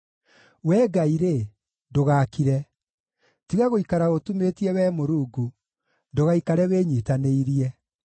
Wee Ngai-rĩ, ndũgakire; tiga gũikara ũtumĩtie, Wee Mũrungu, ndũgaikare wĩnyiitanĩirie.